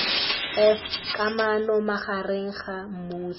f kamano magareng ga mmuso